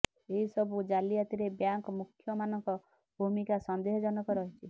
ଏହି ସବୁ ଜାଲିଆତିରେ ବ୍ୟାଙ୍କ ମୁଖ୍ୟମାନଙ୍କ ଭୂମିକା ସନ୍ଦେହଜନ ରହିଛି